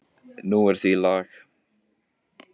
Nú er því lag.